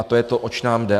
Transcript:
A to je to, oč nám jde.